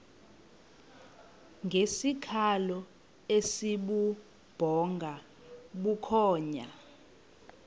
ngesikhalo esibubhonga bukhonya